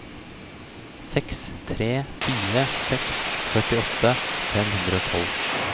seks tre fire seks førtiåtte fem hundre og tolv